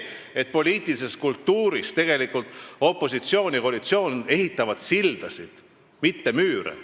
Poliitilises kultuuris peaksidki tegelikult opositsioon ja koalitsioon ehitama sildasid, mitte müüre.